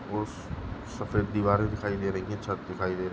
सफ़ेद् दिवारे दिखाई दे रही है छत दिखाइ दे रहे है।